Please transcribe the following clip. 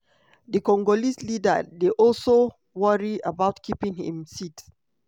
di congolese leader dey also worry about keeping im seat.